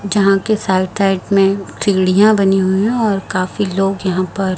जहां के side side में सीढ़ियां बनी हुई है और काफी लोग यहां पर--